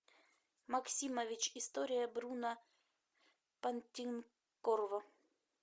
максимович история бруно понтекорво